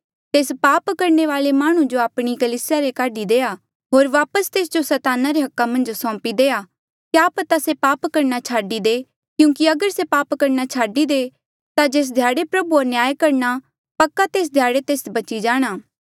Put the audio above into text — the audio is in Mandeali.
तेस पाप करणे वाले माह्णुं जो आपणी कलीसिया ले काढी देआ होर वापस तेस जो सैताना रे हका मन्झ सौंपी देआ क्या पता से पाप करणा छाडी दे क्यूंकि अगर से पाप करना छाडी दे ता जेस ध्याड़े प्रभुआ न्याय करणा पक्का तेस ध्याड़े तेस बची जाणा